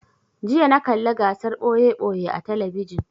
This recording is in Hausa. jiya na kalla gasar ɓoye-ɓoye a talabijin